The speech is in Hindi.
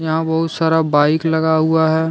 यहाँ बहुत सारा बाइक लगा हुआ है।